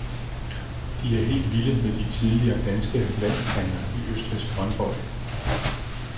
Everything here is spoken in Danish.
De er helt vilde med de tidligere danske landstrænere i østrigsk håndbold.